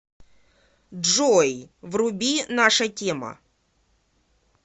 джой вруби наша тема